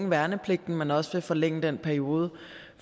værnepligten men også vil forlænge den periode